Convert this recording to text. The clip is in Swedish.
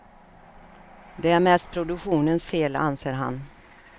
Det är mest produktionens fel, anser han.